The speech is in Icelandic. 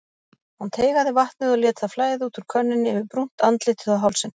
Hann teygaði vatnið og lét það flæða út úr könnunni yfir brúnt andlitið og hálsinn.